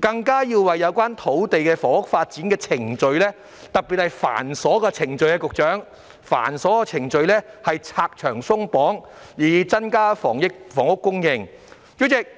更要為有關土地房屋發展的程序——局長，特別是繁瑣的程序——拆牆鬆綁，以增加房屋供應。